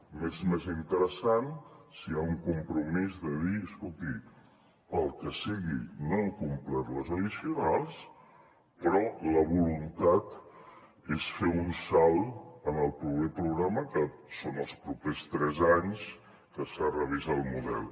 m’és més interessant si hi ha un compromís de dir escolti pel que sigui no hem complert les addicionals però la voluntat és fer un salt en el proper programa que són els propers tres anys que s’ha de revisar el model